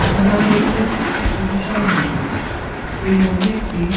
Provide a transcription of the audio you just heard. এখানে আমরা দেখতে পাচ্ছি একটি সুবিশাল মন্দির এই মন্দিরটি --